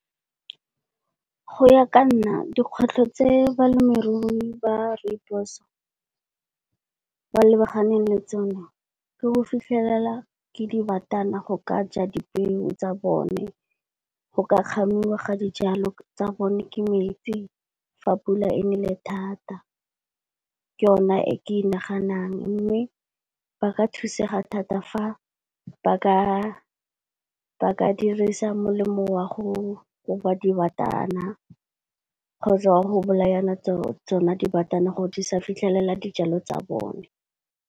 Go ya ka nna dikgwetlho tse balemirui ba Rooibos, ba lebaganeng le tsona ke go fitlhelela ke dibatana go ka ja dipeo tsa bone, go ka kgamiwa ga dijalo tsa bone, ke metsi fa pula e nele thata. Ke yona e ke e naganang mme ba ka thusega thata fa ba ka dirisa molemo wa go koba dibatana kgotsa wa go bolayana tsona dibatana gore di sa fitlhelela dijalo tsa bone.